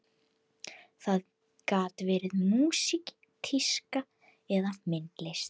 Það gat verið músík, tíska eða myndlist.